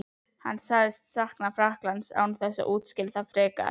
Hann sagðist sakna Frakklands án þess að útskýra það frekar.